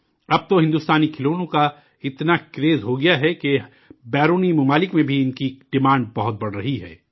اب تو ہندوستانی کھلونوں کا اتنا کریز ہو گیا ہے کہ ملک کے باہر بھی ان کی ڈیمانڈ بہت بڑھ رہی ہے